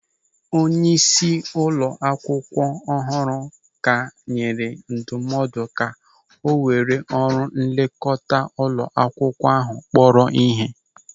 Onyeisi ụlọ akwụkwọ ọhụrụ ka enyere ndụmọdụ ka o were ọrụ nlekọta ụlọ akwụkwọ ahụ kpọrọ ihe.